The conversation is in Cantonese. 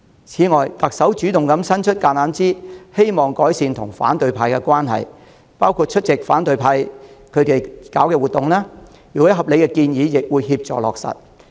此外，為改善與反對派的關係，特首主動伸出橄欖枝，包括出席反對派舉辦的活動，對方如有合理建議亦會協助落實。